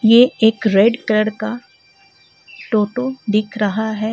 ये एक red colour का टोटो दिख रहा है।